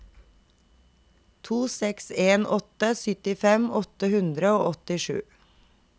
to seks en åtte syttifem åtte hundre og åttisju